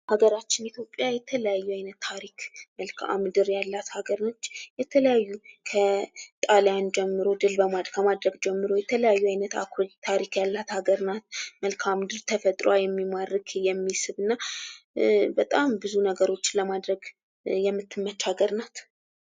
ሀገራችን ኢትዮጵያ የተለያዩ አይነት ታሪክ መልከአምድር ያላት ሀገር ነች። የተለያዩ ከጣልያን ጀምሮ ድል ከማድረግ ጀምሮ አኩሪ ታሪክ ያላት አገር ናት። መልከአምድር ተፈጥሮዋ የሚማርክ የሚስብና በጣም ብዙ ነገሮችን ለማድረግ የምትመች ሀገር ናት።